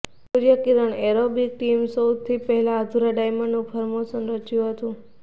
સૂર્યકિરણ aerobic ટીમે સૌથી પહેલા અધૂરા ડાયમંડનું ફોર્મેશન રચ્યું હતું